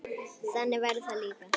Þannig verður það líka.